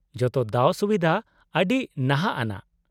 -ᱡᱚᱛᱚ ᱫᱟᱣᱼᱥᱩᱵᱤᱫᱷᱟ ᱟᱹᱰᱤ ᱱᱟᱦᱟᱜ ᱟᱱᱟᱜ ᱾